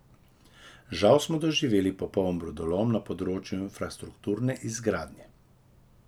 Žal smo doživeli popoln brodolom na področju infrastrukturne izgradnje.